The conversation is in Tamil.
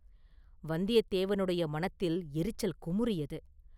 வந்தியத்தேவனுடைய மனத்தில் எரிச்சல் குமுறியது.